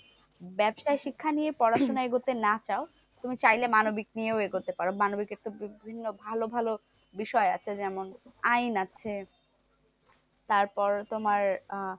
ব্যবসায়ী শিক্ষা নিয়ে পড়াশোনা এগোতে না চাও? তুমি চাইলে মানবিক নিয়ে ও এগোতে পারো? মানবিক একটা বিভিন্ন ভালো ভালো বিষয় আছে। যেমন আইন আছে, তার পর তোমার আহ